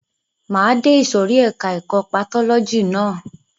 Máa de ìsòrí ẹka ẹ̀kọ́ patọ́lọ́jì ná.